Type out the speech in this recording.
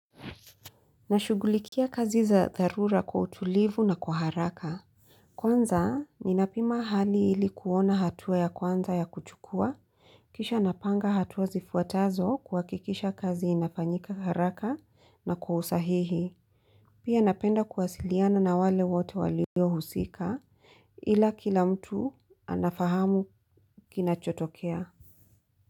Nashugulikia kazi za tharura kwa utulivu na kwa haraka. Kwanza, ninapima hali ilikuona hatua ya kwanza ya kuchukua. Kisha napanga hatua zifuatazo kwa hakikisha kazi inafanyika kwa haraka na kwa usahihi. Pia napenda kuwasiliana na wale wote walio husika ila kila mtu anafahamu kina chotokea.